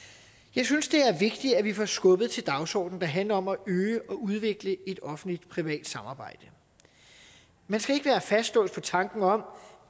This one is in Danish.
jeg synes det er vigtigt at vi får skubbet til den dagsorden der handler om at øge og udvikle et offentlig privat samarbejde man skal ikke være fastlåst på tanken om